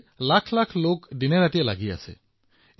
এইদৰে লাখ লাখ লোক দিনৰাতিয়ে ব্যস্ত হৈ থাকে